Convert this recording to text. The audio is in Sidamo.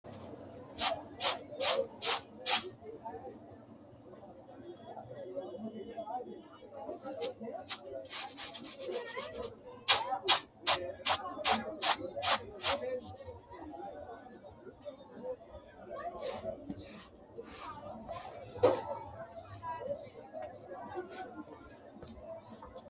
Itophiyu Malaatu Afii Roso Konninni kainohunni, dhibbaho, jawanna shota jaddora, reewote hattono miinjunna dagoomu qarrira reqecci yaanno Itophiyu Malaatu Afii Roso Konninni kainohunni, dhibbaho, jawanna.